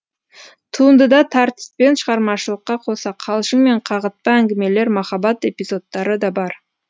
туындыда тартыс пен шығармашылыққа қоса қалжың мен қағытпа әңгімелер махаббат эпизодтары да бар